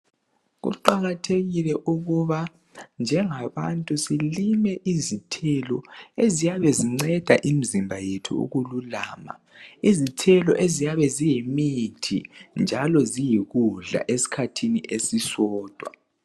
Kuqakathekile ukuba njengabantu silime izithelo eziyabe zinceda imizimba yethu ukululama. Izithelo eziyabe ziyimithi njalo ziyikudla esikhathini esisodwa.